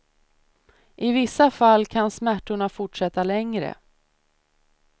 I vissa fall kan smärtorna fortsätta längre.